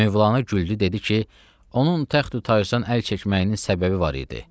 Mövlanə güldü dedi ki, onun təxti tacdan əl çəkməyinin səbəbi var idi.